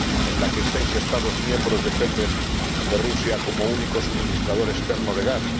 en la que seis Estados miembros dependen de Rusia como único suministrador externo de gas